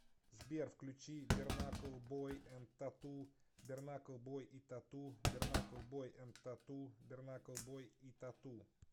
сбер включи бернакл бой энд тату бернакл бой и тату бернакл бой энд т а т у бернакл бой и т а т у